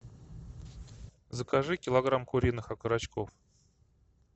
закажи килограмм куриных окорочков